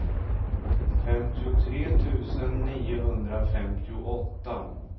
femtiotre tusen niohundrafemtioåtta